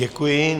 Děkuji.